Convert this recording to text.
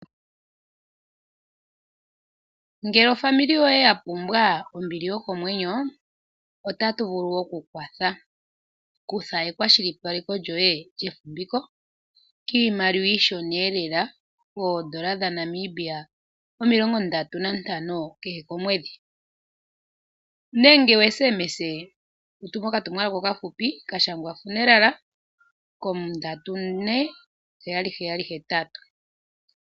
Ngele ofamili yoye yapumwa ombili yokomwenyo, otatu vulu okukwatha. Kutha ekwashilipaleko lyoye lyefumviko kiimaliwa iishona elela, koodola dhaNamibia omilongo ntano kehe komwedhi nenge wu SMS wu tume okatumwalaka okafupi ka shangwa "funeral" ko34778.